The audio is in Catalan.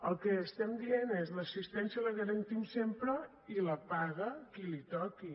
el que diem és l’assistència la garantim sempre i la paga a qui li toqui